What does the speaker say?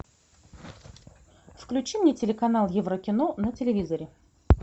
включи мне телеканал еврокино на телевизоре